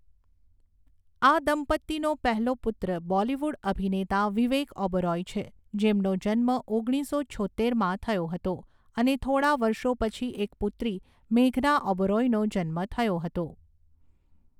આ દંપતીનો પહેલો પુત્ર બોલિવૂડ અભિનેતા વિવેક ઓબેરોય છે, જેમનો જન્મ ઓગણીસો છોત્તેરમાં થયો હતો અને થોડા વર્ષો પછી એક પુત્રી મેઘના ઓબેરોયનો જન્મ થયો હતો.